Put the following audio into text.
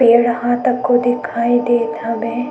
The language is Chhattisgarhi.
पेड़ ह तको दिखाई देत हवे।